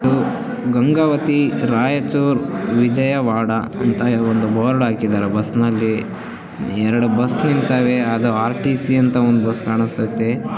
ಗಂಗಾವತಿ ರಾಯಚೂರು ವಿಜಯವಾಡ ಅಂತ ಒಂದು ಬೋರ್ಡ್ ಹಾಕಿದ್ದಾರೆ ಬಸ್ ನಲ್ಲಿಎರಡು ಬಸ್ ನೀನ್ ತಾವೇ ಅದು ಆರ್ ಟಿಸಿ ಅಂತ ಒಂದು ಬಸ್ ಕಾಣಿಸ್ತಿದೆ.